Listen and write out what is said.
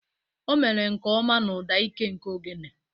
O mere nke ọma na ụda ike nke ogene.